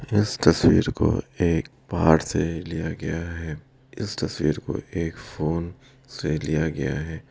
और इस तस्वीर को एक पहाड़ से लिया गया है इस तस्वीर को एक फोन से लिया गया है।